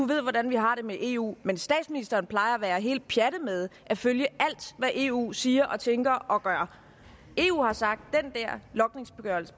ved hvordan vi har det med eu men statsministeren plejer at være helt pjattet med at følge alt hvad eu siger og tænker og gør eu har sagt